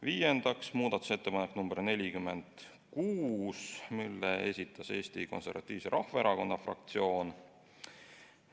Viiendaks, muudatusettepanek nr 46, mille esitas Eesti Konservatiivse Rahvaerakonna fraktsioon.